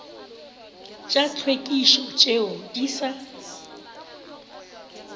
tša tlhwekišo tšeo di sa